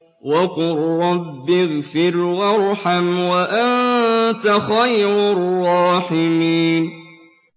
وَقُل رَّبِّ اغْفِرْ وَارْحَمْ وَأَنتَ خَيْرُ الرَّاحِمِينَ